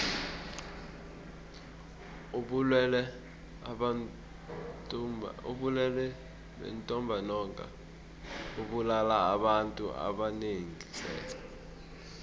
ubulwele bentumbantonga bubulala abantu abanengi tle